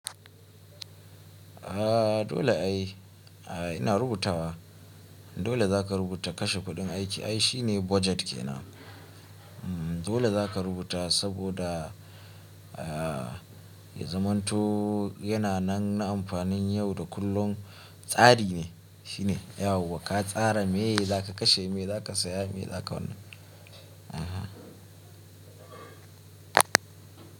A dole ai ina rubutawa dole za ka rubuta kashe kuɗin aiki ai shine budget ke nan. Dole za ka rubuta saboda ya zamanto yana nan amfanin yau da kullum tsari ne shine ka tsara me za ka kashe, me za ka saya, me za ka wannan. Aha.